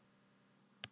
Týnt barn